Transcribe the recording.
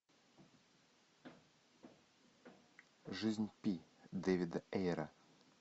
жизнь пи дэвида эйра